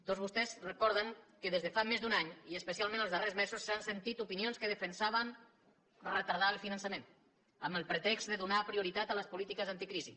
tots vostès recorden que des de fa més d’un any i especialment els darrers mesos s’han sentit opinions que defensaven retardar el finançament amb el pretext de donar prioritat a les polítiques anticrisi